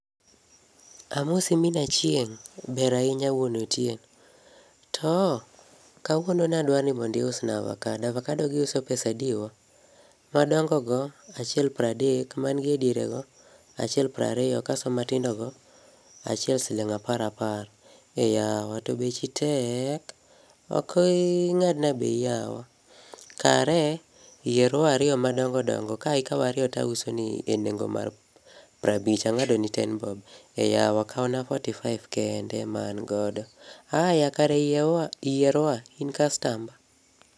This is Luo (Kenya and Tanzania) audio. Amosi min Achieng'. Ber ahinya wuon Otieno. To, kawuono nadwani iusa avakado, avakadogi iuso pesadi wa? Madongo go, achiel pradek, mangie diere go achiel prario kaso matindo go achiel siling apar apar. Eyawa! to bechi tek. Oki ii ng'adna bei yawa. Kare, yier wa ario madongo dongo, ka ikao ario tauso ni e nengo mar parabich. Ang'adoni ten bob. Eyawa! Kauna forty five kende ema angodo. Aya! kare yie wa yier wa, in kastamba.